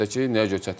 Əlbəttə ki.